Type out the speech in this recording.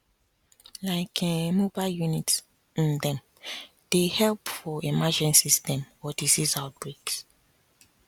like[um]mobile units um dem dey help for emergencies dem or disease outbreaks